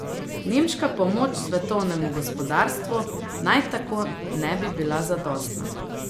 Nemška pomoč svetovnemu gospodarstvu naj tako ne bi bila zadostna.